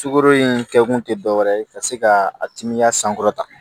Sukaro in kɛkun tɛ dɔwɛrɛ ye ka se ka a timiya sankɔrɔta